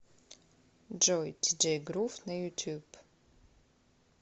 джой диджей грув на ютуб